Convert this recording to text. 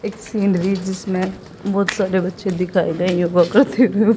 इस सीनरी जिसमें बहुत सारे बच्चे दिखाए गए